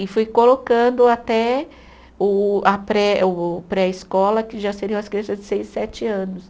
E fui colocando até o a pré, o pré-escola, que já seriam as crianças de seis, sete anos.